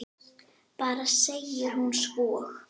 Bara segir hún svo.